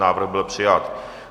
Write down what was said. Návrh byl přijat.